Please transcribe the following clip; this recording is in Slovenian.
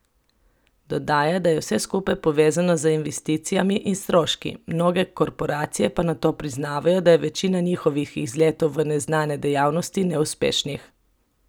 Dodaja, da je vse skupaj povezano z investicijami in stroški, mnoge korporacije pa nato priznavajo, da je večina njihovih izletov v neznane dejavnosti neuspešnih.